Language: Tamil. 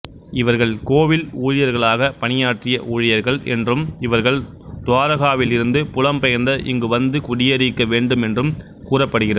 இவர்கள் கோவில் ஊழியர்களாகப் பணியாற்றிய ஊழியர்கள் என்றும் இவர்கள் துவாரகாவில் இருந்து புலம்பெயர்ந்த இங்குவந்து குடியேறியிருக்க வேண்டும் என்றும் கூறப்படுகிறது